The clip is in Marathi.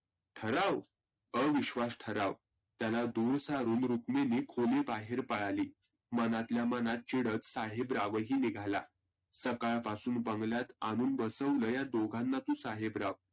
ठराव, अविश्वास ठराव. त्याला दुर सारुन रुक्मिनी खोली बाहेर पळाली. मनातल्या मनात चिडत साहेबराव ही निघाला. सकाळपासून बंगल्यात आनून बसवलय तु साहेबराव.